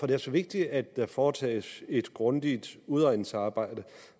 det er så vigtigt at der foretages et grundigt udredningsarbejde